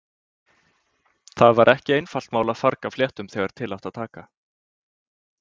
Það var ekki einfalt mál að farga fléttum þegar til átti að taka.